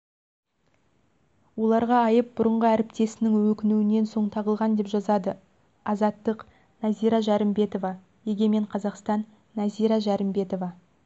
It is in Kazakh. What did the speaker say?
оларға айып бұрынғы әріптесінің өкінуінен соң тағылған деп жазады азаттық нәзира жәрімбетова егемен қазақстан нәзира жәрімбетова